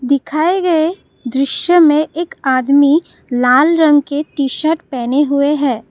दिखाए गए दृश्य में एक आदमी लाल रंग के टी शर्ट पहने हुए हैं।